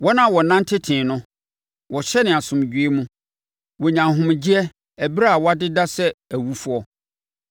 Wɔn a wɔnante tee no wɔhyɛne asomdwoeɛ mu; wɔnya ahomegyeɛ ɛberɛ a wɔadeda sɛ awufoɔ.